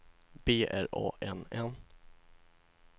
B R A N N